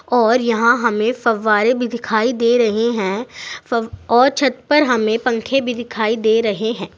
और यहां हमें फव्वारें भी दिखाई दे रहे हैं। फब और छत पर हमें पंखे भी दिखाई दे रहे हैं।